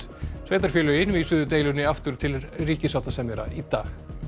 sveitarfélögin vísuðu deilunni aftur til ríkissáttasemjara í dag